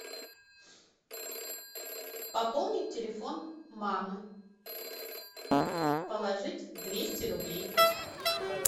пополнить телефон мамы положить двести рублей